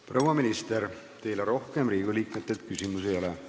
Proua minister, teile rohkem Riigikogu liikmetelt küsimusi ei ole.